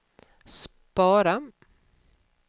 spara